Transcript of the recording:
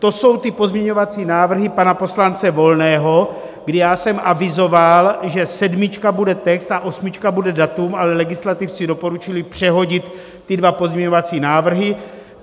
To jsou ty pozměňovací návrhy pana poslance Volného, kdy já jsem avizoval, že sedmička bude text a osmička bude datum, ale legislativci doporučili přehodit ty dva pozměňovací návrhy.